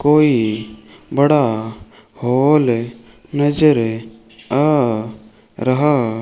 कोई बड़ा हॉल नजर आ रहा --